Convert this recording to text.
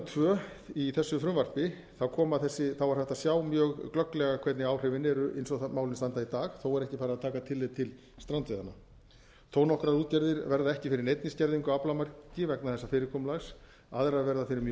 tvö í þessu frumvarpi er hægt að sjá mjög glögglega hvernig áhrifin eru eins og málin standa í dag þó er ekki farið að taka tillit til strandveiðanna þó nokkrar útgerðir verða ekki fyrir neinni skerðingu á aflamarki vegna þessa fyrirkomulags aðrar verða fyrir mjög